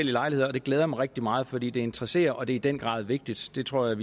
lejligheder og det glæder mig rigtig meget fordi det interesserer og det er i den grad vigtigt det tror